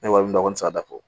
Ne wari kɔni tɛ se ka dabɔ